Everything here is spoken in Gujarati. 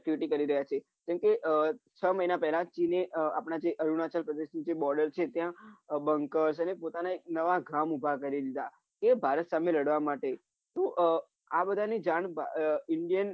activity કરી રહ્યા છે કેમ કે છ મહિના પેલા જ એમને આપના જે અરુણાચલ પ્રદેશ જે border છે ત્યાં બંકસ અને પોતાના એક નવા ગામ ઉભા કરી દીધા એ ભારત સામે લડવા માટે તો આહ આ બધાની જાણ આહ indian